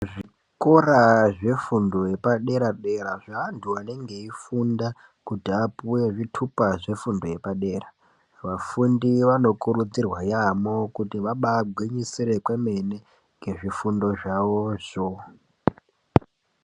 Zvikora zvefundo yepadera dera zvevantu vanenge veyifunda kuti vapuwe zvitupa zvefundo yepadera vafundi vanokurudzirwa yambo kuti vagwinyisire wewemene ngezvifundo zvavo zvo.